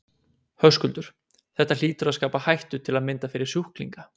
Höskuldur: Þetta hlýtur að skapa hættu til að mynda fyrir sjúklinga?